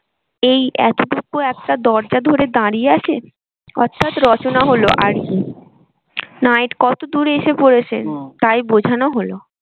এই এতটুকু একটা দরজা ধরে দাঁড়িয়ে আছে অর্থাৎ রচনা হলো আর কি night কতদূর এসে তাই বোঝানো হলো।